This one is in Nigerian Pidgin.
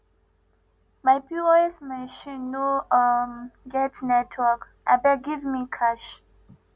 my pos machine no um get network abeg give me cash